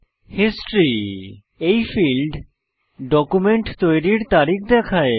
history এই field document তৈরির তারিখ দেখায়